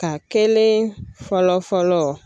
Ka kelen fɔlɔ fɔlɔ